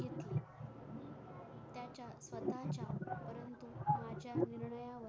सदाचार परंतु माझ्या मान्यवर